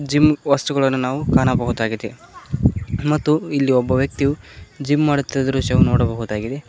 Gym ವಸ್ತುಗಳನ್ನು ನಾವು ಕಾಣಬಹುದಾಗಿದೆ ಮತ್ತು ಇಲ್ಲಿ ಒಬ್ಬ ವ್ಯಕ್ತಿಯು ಜಿಮ್ ಮಾಡುತ್ತಿರುವ ದೃಶ್ಯವು ನೋಡಬಹುದಾಗಿದೆ.